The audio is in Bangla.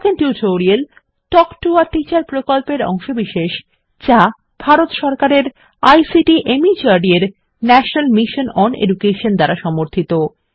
spoken tutorial talk to a teacher প্রকল্পের অংশবিশেষ যা ভারত সরকারের আইসিটি মাহর্দ এর ন্যাশনাল মিশন ওন এডুকেশন দ্বারা সমর্থিত